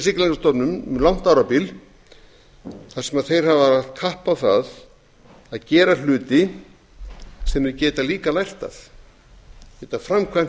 siglingastofnun um langt árabil þar sem þeir hafa lagt kapp á það að gera hluti sem þeir geta líka lært af geta framkvæmt